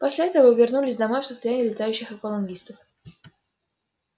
после этого вы вернулись домой в состоянии летающих аквалангистов